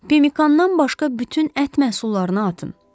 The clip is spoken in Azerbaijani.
Pemikandan başqa bütün ət məhsullarını atın.